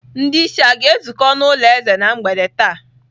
Ndị isi a ga-ezukọ n'ụlọ eze na mgbede taa?